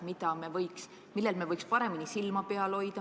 Mis on asjad, millel me võiks paremini silma peal hoida?